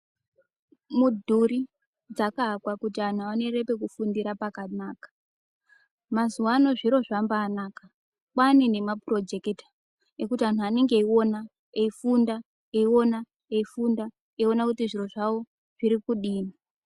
Mudhuri dzakavakwa kuti vantu vaone pekufundira pakanaka mazuva anawa zviro pakuti vantu vaone pekufundira pakanaka mazuva ano zviro zvakanaka kwane nemaproject ekuti anhu anenge eiona eifunda eiona kuti zviro zvawo zviri kudii.